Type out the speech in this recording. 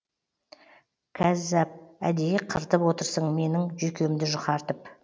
кәззап әдейі қыртып отырсың менің жүйкемді жұқартып